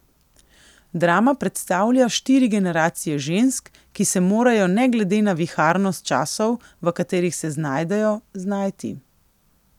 Drama predstavlja štiri generacije žensk, ki se morajo ne glede na viharnost časov, v katerih se znajdejo, znajti.